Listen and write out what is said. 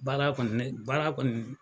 Baara kɔni ne baara kɔni